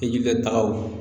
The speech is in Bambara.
I jikataw